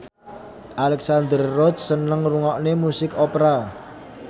Alexandra Roach seneng ngrungokne musik opera